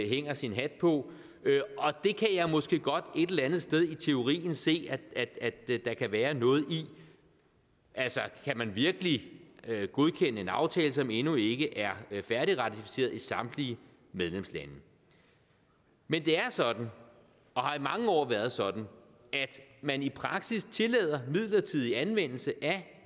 hænger sin hat på det kan jeg måske godt et eller andet sted i teorien se at der kan være noget i altså kan man virkelig godkende en aftale som endnu ikke er færdigratificeret i samtlige medlemslande men det er sådan og har i mange år været sådan at man i praksis tillader midlertidig anvendelse af